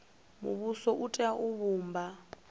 muvhuso u tea u vhumba